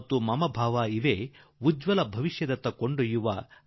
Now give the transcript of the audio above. ಮತ್ತು ಅನುಕಂಪ ಭಾವ ಇವೇ ಮಾರ್ಗಗಳು ನಮ್ಮನ್ನು ಉಜ್ವಲ ಭವಿಷ್ಯದತ್ತ ಕೊಂಡೊಯ್ಯುತ್ತವೆ